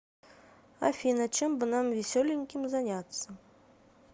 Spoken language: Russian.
афина чем бы нам веселеньким заняться